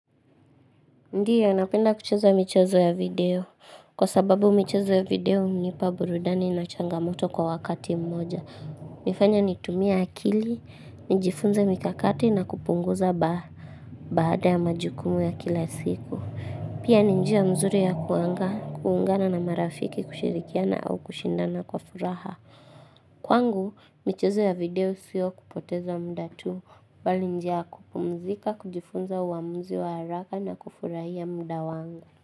Ndiyo, napenda kucheza michezo ya video. Kwa sababu michezo ya video hunipa burudani na changamoto kwa wakati mmoja. Hufanya nitumie akili, nijifunze mikakati na kupunguza baada ya majukumu ya kila siku. Pia ni njia mzuri ya kuangaa, kuungana na marafiki kushirikiana au kushindana kwa furaha. Kwangu, michezo ya video siyo kupoteza muda tu, bali ni njia kupumzika, kujifunza uamuzi wa haraka na kufurahia muda wangu.